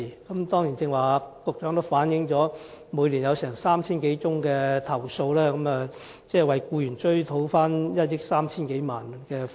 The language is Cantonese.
局長剛才指出，積金局每年接獲3000多宗投訴，為僱員討回1億 3,000 多萬元供款。